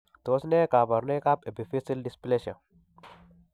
Tos nee kabarunaik ab Epiphyseal dysplasia ?